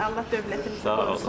Allah dövlətimizi qorusun.